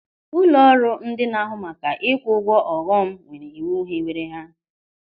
Ụlọrụ ndị n'ahụ maka ikwu ụgwọ ọghọm nwere iwu hiwere ha.